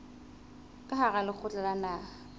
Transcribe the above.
ka hara lekgotla la naha